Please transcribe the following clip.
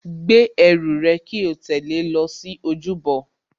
Gbé ẹrù rẹ kí o tẹ̀lé lọ sí ojúbọ